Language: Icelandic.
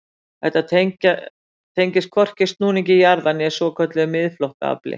Þetta tengist hvorki snúningi jarðar né svokölluðu miðflóttaafli.